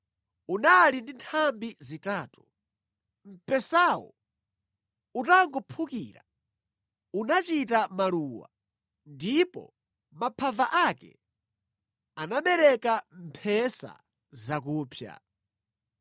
unali ndi nthambi zitatu. Mpesawo utangophukira, unachita maluwa ndipo maphava ake anabereka mphesa zakupsa.